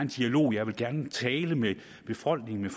i dialog jeg vil gerne tale med befolkningen